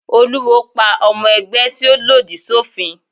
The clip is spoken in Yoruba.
Olúwo pa ọmọ ẹgbẹ́ tí ó lòdì sófin.